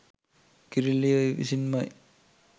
කිරිල්ලිය විසින්මයි.